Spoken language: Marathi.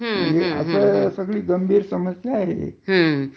गंभीर समस्या आहे ते